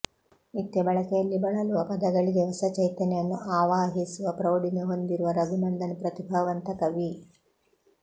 ನಿತ್ಯ ಬಳಕೆಯಲ್ಲಿ ಬಳಲುವ ಪದಗಳಿಗೆ ಹೊಸ ಚೈತನ್ಯವನ್ನು ಆವಾಹಿಸುವ ಪ್ರೌಢಿಮೆ ಹೊಂದಿರುವ ರಘುನಂದನ್ ಪ್ರತಿಭಾವಂತ ಕವಿ